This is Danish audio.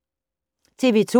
TV 2